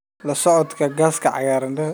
La-socodka Gaaska Cagaaran.